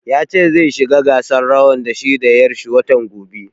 Ya ce zai shiga gasar rawan da shi da ƴar shi watan gobe